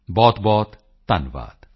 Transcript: ਬਹੁਤਬਹੁਤ ਧੰਨਵਾਦ